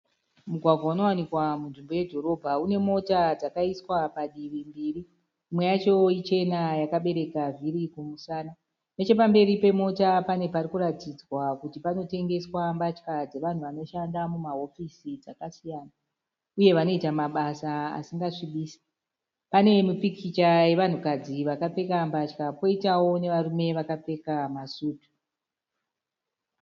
Mugwagwa unowanikwa munzvimbo yedhotobha. Unemota dzakaiswa padivi mbiri. Imwe yacho ichena yakabereka vhiri kumusana. Nechepamberi pemota pane parikuratidzwa kuti panotengeswa mbatya dzavanhu vanoshanda mumahofisi dzakasiyana uye vanoita mabasa asingasvibisi. Pane mupikicha wevanhukadzi vakapfeka mbatya dzakasiyana poitawo varume vakapfeka masutu.